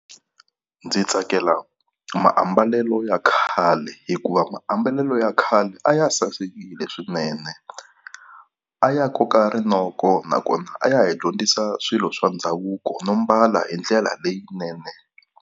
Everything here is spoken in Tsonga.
Ndzi tsakela maambalelo ya khale hikuva maambalelo ya khale a ya sasekile swinene. A ya koka rinoko nakona a ya hi dyondzisa swilo swa ndhavuko no mbala hi ndlela leyinene.